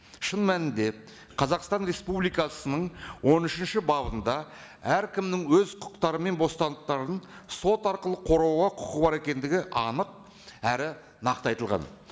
шын мәнінде қазақстан республикасының он үшінші бабында әркімнің өз құқықтары мен бостандықтарын сот арқылы қорғауға құқығы бар екендігі анық әрі нақты айтылған